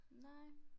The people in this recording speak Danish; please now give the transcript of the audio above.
Nej